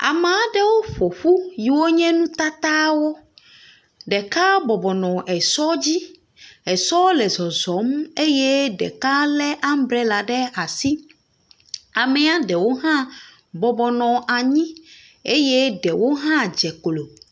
Amea ɖewo ƒo ƒu yiwo nye nutatawo. Ɖeka bɔbɔ nɔ esɔ dzi. Esɔ le zɔzɔm eye ɖeka lé ambrela ɖe asi. Amea ɖewo hã bɔbɔ nɔ anyi eye ɖewo hã dze klo.